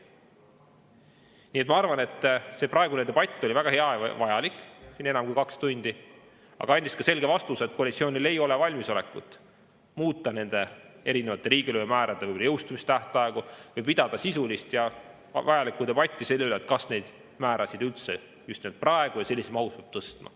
Nii et ma arvan, et tänane debatt, mis kestis enam kui kaks tundi, oli väga hea ja vajalik, aga andis ka selge vastuse, et koalitsioonil ei ole valmisolekut muuta riigilõivumäärade jõustumistähtaegu või pidada sisulist ja vajalikku debatti selle üle, kas neid määrasid üldse just praegu ja sellises mahus peab tõstma.